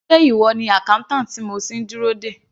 Sé ìwọ ni accountant tí mo ti ń dúró dè.